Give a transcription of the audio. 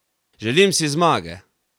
Želim si zmage!